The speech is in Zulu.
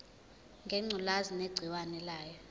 ngengculazi negciwane layo